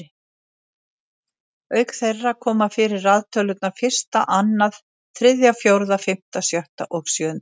Auk þeirra koma fyrir raðtölurnar fyrsta, annað, þriðja, fjórða, fimmta, sjötta og sjöunda.